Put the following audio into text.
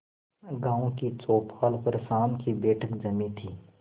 गांव की चौपाल पर शाम की बैठक जमी थी